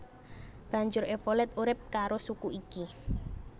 Banjur Evolet urip karo suku iki